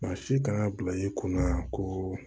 Maa si kan ka bila i kunna ko